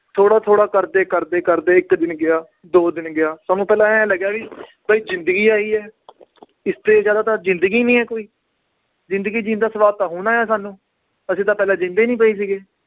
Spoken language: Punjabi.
ਥੋੜ੍ਹਾ ਥੋੜ੍ਹਾ ਕਰਦੇ ਕਰਦੇ ਕਰਦੇ ਇੱਕ ਦਿਨ ਗਿਆ ਦੋ ਦਿਨ ਗਿਆ, ਸਾਨੂੰ ਪਹਿਲਾਂ ਇਉਂ ਲੱਗਿਆ ਵੀ ਬਾਈ ਜ਼ਿੰਦਗੀ ਆਹੀ ਹੈ ਇਸ ਤੇ ਜ਼ਿਆਦਾ ਤਾਂ ਜ਼ਿੰਦਗੀ ਨੀ ਹੈ ਕੋਈ, ਜ਼ਿੰਦਗੀ ਜਿਉਣ ਦਾ ਸਵਾਦ ਤਾਂ ਹੁਣ ਆਇਆ ਸਾਨੂੰ, ਅਸੀਂ ਤਾਂ ਪਹਿਲਾਂ ਜਿਉਂਦੇ ਹੀ ਨੀ ਪਏ ਸੀਗੇ।